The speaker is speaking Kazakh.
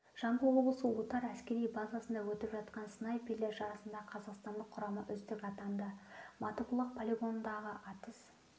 жамбыл облысы отар әскери базасында өтіп жатқан снайперлер жарысында қазақстандық құрама үздік атанды матыбұлақ полигонындағы атыс